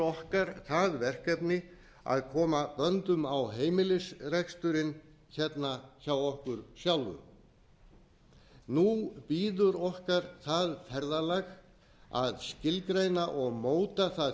okkar það verkefni að koma böndum á heimilisreksturinn hérna hjá okkur sjálfum nú bíður okkar það ferðalag að skilgreina og móta það